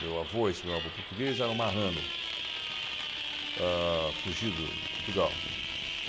Meu avô, esse meu avô português, era marrano... ah fugido de Portugal.